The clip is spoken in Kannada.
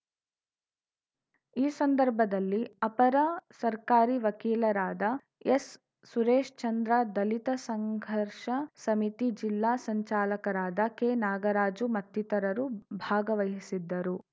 ಈ ಸಂದರ್ಭದಲ್ಲಿ ಅಪರ ಸರ್ಕಾರಿ ವಕೀಲರಾದ ಎಸ್‌ಸುರೇಶ್‌ಚಂದ್ರ ದಲಿತ ಸಂಘರ್ಷ ಸಮಿತಿ ಜಿಲ್ಲಾ ಸಂಚಾಲಕರಾದ ಕೆನಾಗರಾಜು ಮತ್ತಿತರರು ಭಾಗವಹಿಸಿದ್ದರು